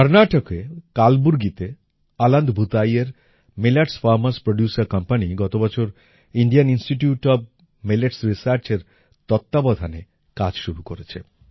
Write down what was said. কর্নাটকে কালবুর্গিতে অলন্দ ভূতাঈএর মিলেটস ফার্মার্স প্রোডিউসের কোম্পানি গত বছর ইন্ডিয়ান ইনস্টিটিউট ওএফ মিলেটস Researchএর তত্ত্বাবধানে কাজ শুরু করেছে